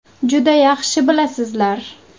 Juda yaxshi bilasizlar.